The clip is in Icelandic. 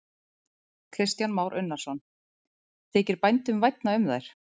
Kristján Már Unnarsson: Þykir bændum vænna um þær?